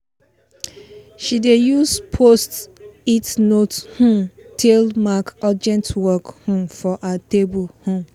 she dey use post-it note um tale mark urgent work um for her table um